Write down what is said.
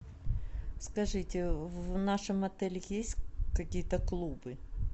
скажите в нашем отеле есть какие то клубы